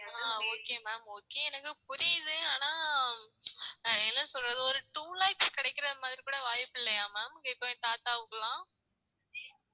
ஆஹ் okay ma'am okay எனக்கு புரியுது ஆனா ஆஹ் என்ன சொல்றது ஒரு two lakhs கிடைக்கிற மாதிரி கூட வாய்ப்பு இல்லையா ma'am இப்போ என் தாத்தாவுக்கெல்லாம்